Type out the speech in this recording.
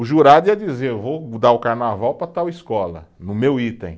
O jurado ia dizer, eu vou dar o carnaval para tal escola, no meu item.